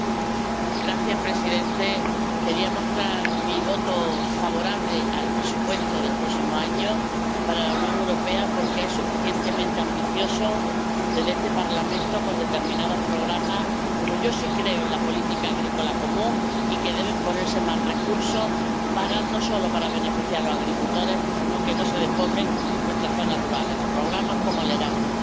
Señor presidente, quería mostrar mi voto favorable al presupuesto del próximo año para la Unión Europea porque es suficientemente ambicioso desde este Parlamento con determinados programas, ya que yo sí creo en la política agrícola común y en que deben ponerse más recursos no solo para beneficiar a los agricultores, sino para que no se despueblen nuestras zonas rurales, o para programas como Erasmus.